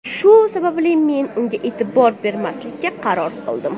Shu sababli men unga e’tibor bermaslikka qaror qildim.